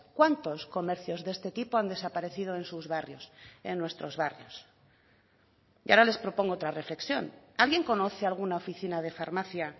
cuántos comercios de este tipo han desaparecido en sus barrios en nuestros barrios y ahora les propongo otra reflexión alguien conoce alguna oficina de farmacia